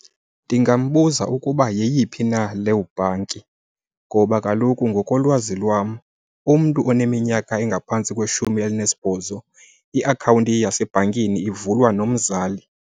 Ndingambuza ukuba yeyiphi na leyo bhanki ngoba kaloku ngokolwazi lwam umntu oneminyaka engaphantsi kweshumi elinesibhozo iakhawunti yasebhankini ivulwa nomzali.